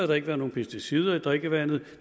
der ikke været nogen pesticider i drikkevandet